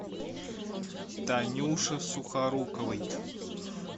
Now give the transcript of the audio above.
танюше сухоруковой